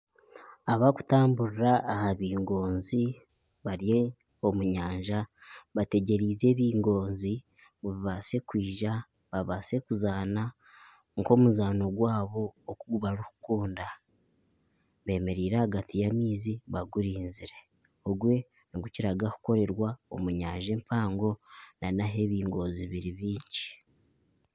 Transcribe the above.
Abakutamburira aha bingonzi bari omu nyanja bategyereize ebingonzi ngu bibaase kwija babaase kuzaana omuzaano gwabo ogu barikukunda. Bemereire ahagati y'amaizi bagurinzire. Ogwe nigukiraga kukorerwa omu nyanja empango n'ahu ebingonzi biri bingi.